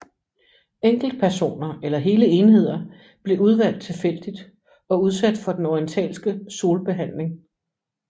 Enkeltpersoner eller hele enheder blev udvalgt tilfældigt og udsat for den orientalske solbehandling